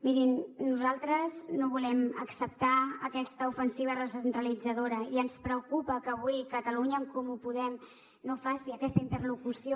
mirin nosaltres no volem acceptar aquesta ofensiva recentralitzadora i ens preocupa que avui catalunya en comú podem no faci aquesta interlocució